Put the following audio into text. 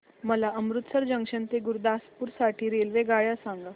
मला अमृतसर जंक्शन ते गुरुदासपुर साठी रेल्वेगाड्या सांगा